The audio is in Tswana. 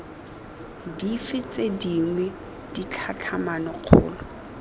dife tse dingwe ditlhatlhamano kgolo